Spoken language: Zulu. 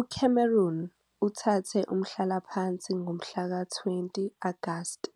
UCameron uthathe umhlalaphansi ngomhla ka-20 Agasti